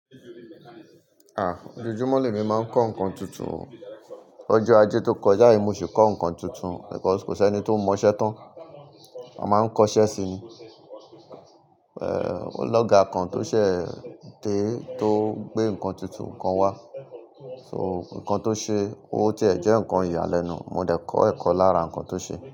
Ah! Ojoojúmọ́ ni emi máa ń kọ́ nǹkan tuntun o. Ọjọ́ ajé tó kọjá yìí mo sì kọ́ nǹkan tuntun nítorí kò sí ẹni tó mọ iṣẹ́ tán. Mo máa ń kọ́ iṣẹ́ sí i. Eh! Ológa kan tó ṣẹ̀ dé tó gbé nǹkan tuntun kan wá, so nǹkan tó ṣe ó ti ẹ̀ jẹ́ nǹkan ìyàlẹ́nu. Mo dẹ̀ kọ ẹ̀kọ́ lára nǹkan tó ṣe.